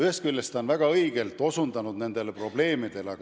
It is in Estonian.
Ühest küljest on ta väga õigesti nendele probleemidele osutanud.